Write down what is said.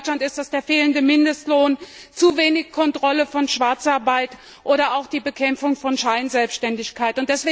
Bei uns in Deutschland ist das der fehlende Mindestlohn, zu wenig Kontrolle von Schwarzarbeit oder auch Bekämpfung von Scheinselbstständigkeit.